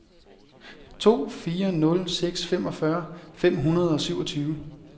to fire nul seks femogfyrre fem hundrede og syvogtyve